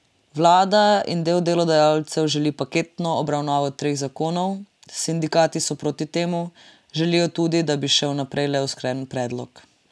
Vlada in del delodajalcev želi paketno obravnavo treh zakonov, sindikati so proti temu, želijo tudi, da bi šel naprej le usklajen predlog.